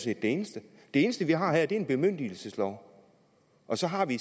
set det eneste det eneste vi har her er en bemyndigelseslov og så har vi